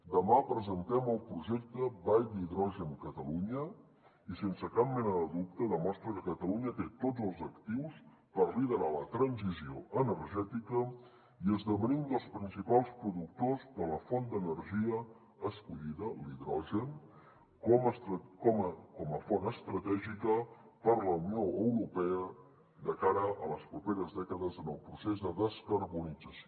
demà presentem el projecte vall d’hidrogen catalunya i sense cap mena de dubte demostra que catalunya té tots els actius per liderar la transició energètica i esdevenir un dels principals productors de la font d’energia escollida l’hidrogen com a font estratègica per a la unió europea de cara a les properes dècades en el procés de descarbonització